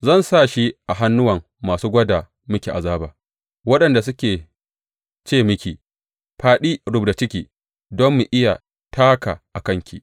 Zan sa shi a hannuwan masu gwada miki azaba, waɗanda suke ce miki, Fāɗi rubda ciki don mu iya taka a kanki.’